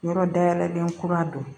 Yɔrɔ dayɛlɛ den kura don